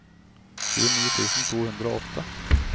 tjueni tusen to hundre og åtte